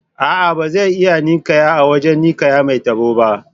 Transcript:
A'a, ba zai iya ninƙayar a wajen ninƙayar mai tabo ba.